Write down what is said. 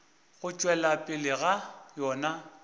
go tšwelela pele ga yona